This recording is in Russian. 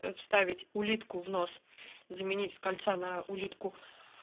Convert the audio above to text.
вставить улитку в нос заменить с кольца на улитку